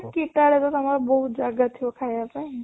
ଦି ଟା ବେଳେ ତାଙ୍କର ବହୁତ ଜାଗା ଥିବ ଖାଇବା ପାଇଁ